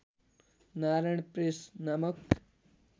Narayan press नामक